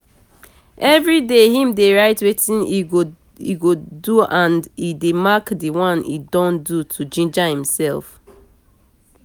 everyday him dey write wetin e go doand e dey mark d one e don do to ginger himself